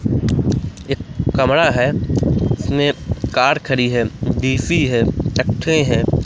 एक कमरा है इसमें कार खड़ी है देसी है हैं।